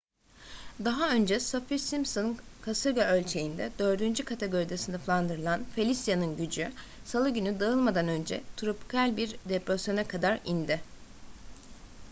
daha önce saffir-simpson kasırga ölçeğinde 4. kategoride sınıflandırılan felicia'nın gücü salı günü dağılmadan önce tropikal bir depresyona kadar indi